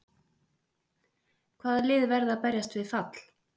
Hvaða lið verða að berjast við fall?